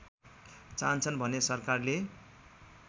चाहन्छन् भने सरकारले